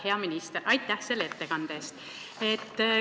Hea minister, aitäh selle ettekande eest!